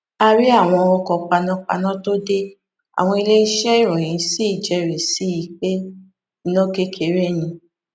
a rí àwọn ọkọ panápaná tó dé àwọn iléeṣẹ ìròyìn sì jérìí sí i pé iná kékeré ni